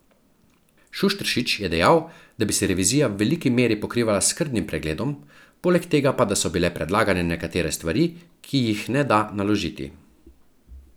Šušteršič je dejal, da bi se revizija v veliki meri pokrivala s skrbnim pregledom, poleg tega pa da so bile predlagane nekatere stvari, ki jih ne da naložiti.